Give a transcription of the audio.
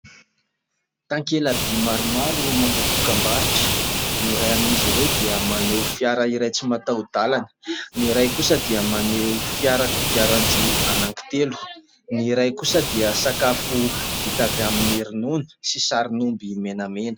Takelaby maromaro manao dokam-barotra, ny iray amin'izy ireo dia maneho fiara iray tsy mataho-dalana, ny iray kosa dia maneho fiara kodiaran-droa anankitelo, ny iray kosa dia sakafo vita avy amin'ny ronono sy sarin'omby menamena.